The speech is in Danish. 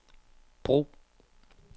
brug